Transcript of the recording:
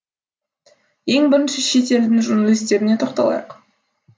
ең бірінші шет елдің журналистеріне тоқталайық